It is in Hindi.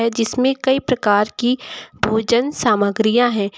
जिसमें कई प्रकार की की भोजन सामग्रियां है।